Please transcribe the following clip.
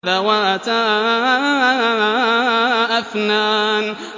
ذَوَاتَا أَفْنَانٍ